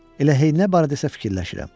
Elə Heydnə barədə isə fikirləşirəm.